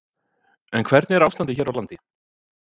En hvernig er ástandið hér á landi?